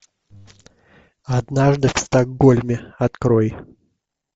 однажды в стокгольме открой